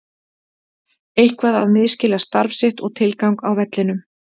Eitthvað að misskilja starf sitt og tilgang á vellinum.